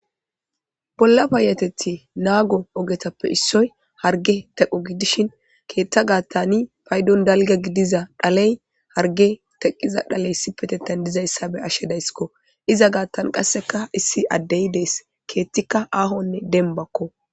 Bolla payateti naago ogetappe issoy harge teqo gidishin keethta gaattani paydon dalga gidiza dhaley harge teqqiza dhaley sipetetan dizayssa be ashshedayskko iza gaattan qasseka issi addey dees keettikka aahonne dembakko.